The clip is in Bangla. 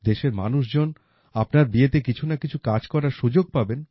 দেশের মানুষজন আপনার বিয়েতে কিছু না কিছু কাজ করার সুযোগ পাবেন